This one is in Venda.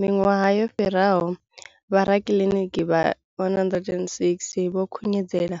Miṅwaha miraru yo fhiraho, vhorakiliniki vha 106 vho khunyeledza